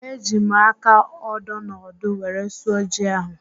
Eji m aka ódō na ọ́dụ́ were sụọ ji ahụ